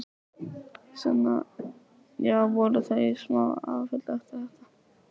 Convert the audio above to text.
Sunna: Já, voru þau í smá áfalli eftir þetta?